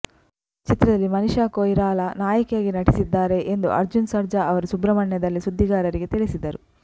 ಚಿತ್ರದಲ್ಲಿ ಮನಿಷಾ ಕೊಯಿರಾಲಾ ನಾಯಕಿಯಾಗಿ ನಟಿಸಿದ್ದಾರೆ ಎಂದು ಅರ್ಜುನ್ ಸರ್ಜಾ ಅವರು ಸುಬ್ರಹ್ಮಣ್ಯದಲ್ಲಿ ಸುದ್ದಿಗಾರರಿಗೆ ತಿಳಿಸಿದರು